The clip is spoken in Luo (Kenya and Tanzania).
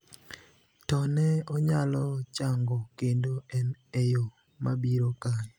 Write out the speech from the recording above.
to ne onyalo chango kendo en e yo mabiro kae,